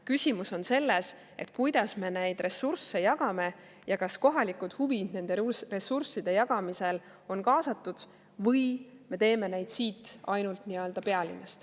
Küsimus on selles, kuidas me neid ressursse jagame ja kas kohalikud huvid nende ressursside jagamisel on kaasatud või me neid ainult siit pealinnast.